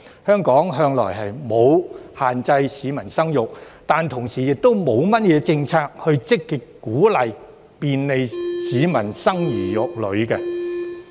香港向來沒有限制市民生育，但同時亦沒有甚麼政策，以積極鼓勵、便利市民生兒育女。